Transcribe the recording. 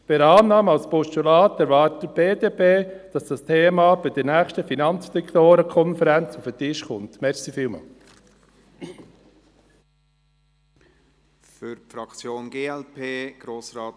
Bei Annahme als Postulat erwartet die BDP, dass das Thema bei der nächsten Finanzdirektorenkonferenz auf den Tisch kommt.